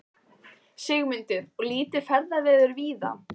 Sigmundur: Og lítið ferðaveður víða?